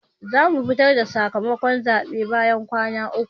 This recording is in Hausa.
zamu fitar da sakamakon zabe bayan kwana uku.